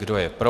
Kdo je pro?